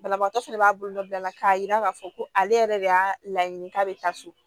Banabaatɔ fɛnɛ b'a bolola k'a yira k'a fɔ ko ale yɛrɛ de y'a laɲini k'a bɛ taa so